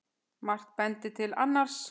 Margt bendir til annars.